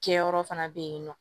Kɛyɔrɔ fana bɛ yen nɔ